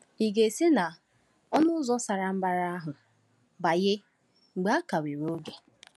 Ị̀ ga-esi na “ọnụ ụzọ sara mbara” ahụ banye mgbe a ka nwere oge?